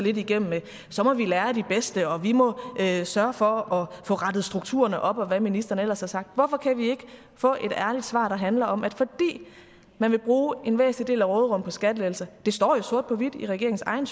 igennem med at så må vi lære af de bedste og at vi må sørge for at få rettet strukturerne op og hvad ministeren ellers har sagt hvorfor kan vi ikke få et ærligt svar der handler om at fordi man vil bruge en væsentlig del af råderummet på skattelettelser det står jo sort på hvidt i regeringens egen